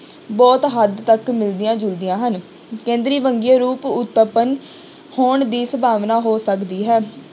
ਬਹੁਤ ਹੱਦ ਤੱਕ ਮਿਲਦੀਆਂ ਜੁਲਦੀਆਂ ਹਨ ਕੇਂਦਰੀ ਵੰਨਗੀਆਂ ਰੁਪ ਉਤਪੰਨ ਹੋਣ ਦੀ ਸੰਭਾਵਨਾ ਹੋ ਸਕਦੀ ਹੈ।